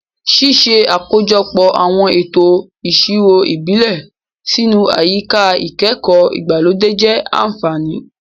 Ṣíṣe àkójọpọ̀ àwọn ètò ìṣirò ìbílẹ̀ sínú àyíká ìkẹ́kọ̀ọ́ ìgbàlódé jẹ́ àfààní.